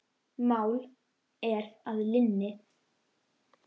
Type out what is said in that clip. Mál er að linni.